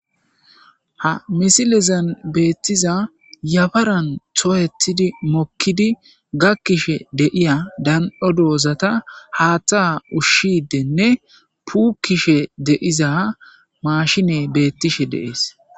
Ha misilezan beettiza yabaran tooyetidi mokkidi gakkishe deiya dan.o doozata haaththa ushshideenne puukishe deiza maashine beettishe deees.